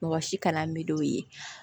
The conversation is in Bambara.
Mɔgɔ si kana mid'o ye